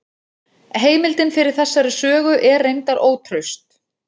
Heimildin fyrir þessari sögu er reyndar ótraust.